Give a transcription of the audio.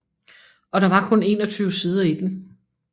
Og der var kun 21 sider i den